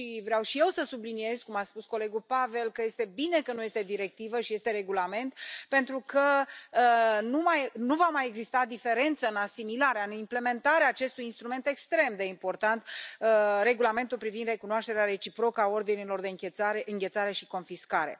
Vreau și eu să subliniez, cum a spus colegul Pavel, că este bine că nu este directivă și este regulament, pentru că nu va mai exista diferență în asimilarea, în implementarea acestui instrument extrem de important, Regulamentul privind recunoașterea reciprocă a ordinelor de înghețare și confiscare.